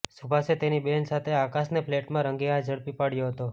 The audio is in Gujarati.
શુભાશે તેની બહેન સાથે આકાશને ફ્લેટમાં રંગેહાથ ઝડપી પાડ્યો હતો